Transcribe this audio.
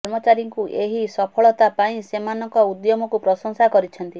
କର୍ମଚାରୀଙ୍କୁ ଏହି ସଫଳତା ପାଇଁ ସେମାନଙ୍କ ଉଦ୍ୟମକୁ ପ୍ରଶଂସା କରିଛନ୍ତି